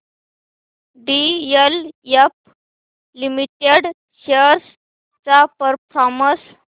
DLF limited shares चा performance